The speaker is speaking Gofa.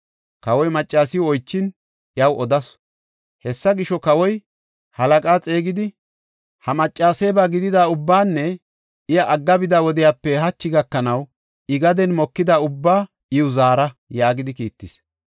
Kawoy maccasiw oychin, iyaw odasu. Hessa gisho, kawoy halaqaa xeegidi, “Ha maccaseeba gidida ubbaanne iya agga bida wodiyape hachi gakanaw I gaden mokida ubbaa iw zaara” yaagidi kiittis.